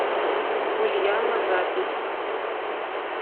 ульяна запись